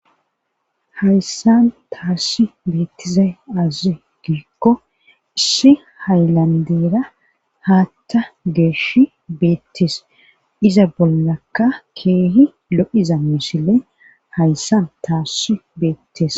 hayssan taassi beettizay aazi giikko issi haylandeera haatta geeshi beettis iza bollakka keehi lo7iza misile hayssan taassi beettes